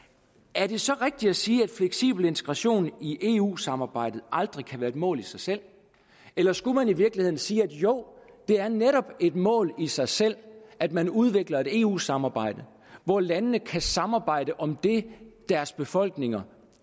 er det så rigtigt at sige at fleksibel integration i eu samarbejdet aldrig kan være et mål i sig selv eller skulle man i virkeligheden sige jo det er netop et mål i sig selv at man udvikler et eu samarbejde hvor landene kan samarbejde om det deres befolkninger